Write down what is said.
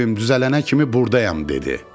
O evim düzələnə kimi burdayam dedi.